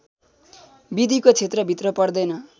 विधिको क्षेत्रभित्र पर्दैन